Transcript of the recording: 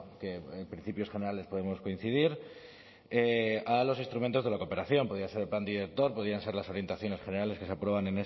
que en principios generales podemos coincidir a los instrumentos de la cooperación podía ser el plan director podían ser las orientaciones generales que se aprueban